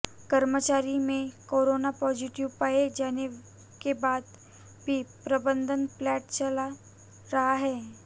कर्मचारी में corona positive पाए जाने के बाद भी प्रबंधन प्लांट चला रहा है